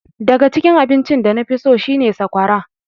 Daga cikin abinci da nafi so shi ne sakwara.